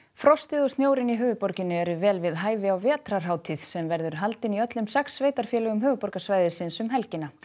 frostið og snjórinn í höfuðborginni eru vel við hæfi á vetrarhátíð sem verður haldin í öllum sex sveitarfélögum höfuðborgarsvæðisins um helgina